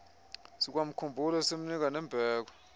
sikwakhumbula simnika nembeko